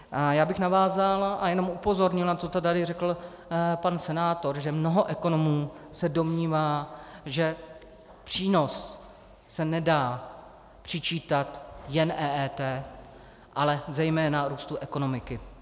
Já bych navázal a jenom upozornil na to, co tady řekl pan senátor, že mnoho ekonomů se domnívá, že přínos se nedá přičítat jen EET, ale zejména růstu ekonomiky.